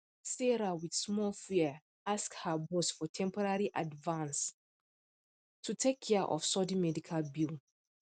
sarah with small fear ask her boss for temporary advance to take care of sudden medical bill